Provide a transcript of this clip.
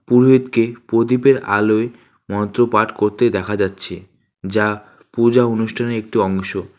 পুরোহিতকে পদীপের আলোয় মন্ত্রপাঠ কত্তে দেখা যাচ্ছে যা পুজা অনুষ্ঠানের একটি অংশ।